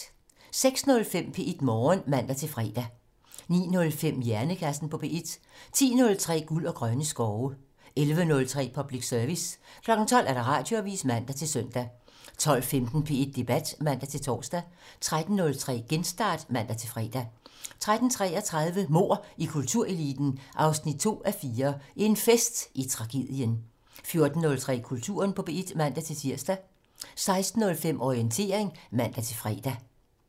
06:05: P1 Morgen (man-fre) 09:05: Hjernekassen på P1 (man) 10:03: Guld og grønne skove (man) 11:03: Public Service (man) 12:00: Radioavisen (man-søn) 12:15: P1 Debat (man-tor) 13:03: Genstart (man-fre) 13:33: Mord i kultureliten 2:4 - En fest i tragedien 14:03: Kulturen på P1 (man-tir) 16:05: Orientering (man-fre)